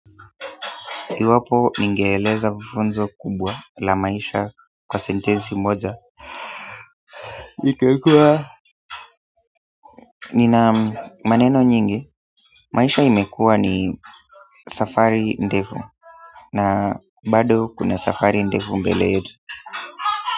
Iwapo ningeeleza funzo kubwa la maisha kwa sentesi moja. Nikiekwa nina maneno nyingi maisha imekuwa ni safari ndefu na bado kuna safari ndefu mbele yetu.